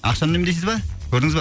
ақшаны үнемдейсіз ба көрдіңіз ба